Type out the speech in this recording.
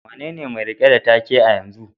Wanene mai rike da take a yanzu?